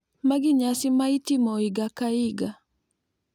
Magi nyasi ma itimo higa ka higa.